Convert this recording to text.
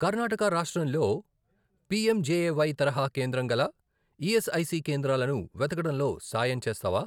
కర్ణాటక రాష్ట్రంలో పిఎంజెఏవై తరహా కేంద్రం గల ఈఎస్ఐసి కేంద్రాలను వెతకడంలో సాయం చేస్తావా?